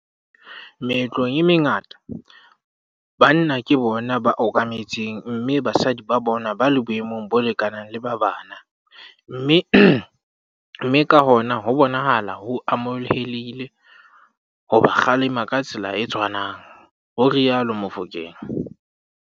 "Meetlong e mengata, banna ke bona ba okametseng mme basadi ba bonwa ba le boemong bo lekanang le ba bana mme ka hona ho bonahala ho amohelehile ho ba kgalema ka tsela e tshwanang," ho rialo Mofokeng.